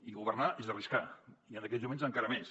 i governar és arriscar i en aquests moments encara més